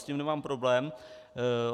S tím nemám problém.